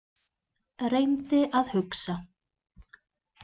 Reyndi að hugsa.